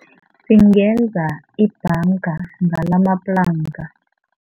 Singenza ibhanga ngalamaplanka.